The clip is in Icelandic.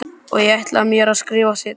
Og ég ætla mér að skrifa seinna.